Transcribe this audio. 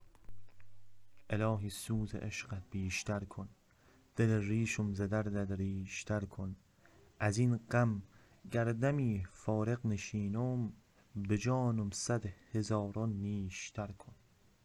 الهی سوز عشقت بیشتر کن دل ریشم ز دردت ریشتر کن ازین غم گر دمی فارغ نشینم به جانم صد هزاران نیشتر کن